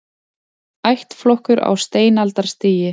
Ættflokkur á steinaldarstigi